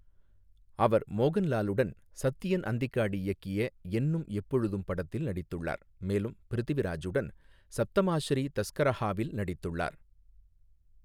அவர் மோகன்லாலுடன் சத்யன் அந்திக்காடு இயக்கிய என்னும் எப்பொழுதும் படத்தில் நடித்துள்ளார், மேலும் பிருத்விராஜுடன் சப்தமாஸ்ரீ தஸ்கரஹாவில் நடித்துள்ளார்.